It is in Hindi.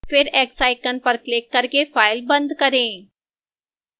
फिर x icon पर क्लिक करके file बंद करें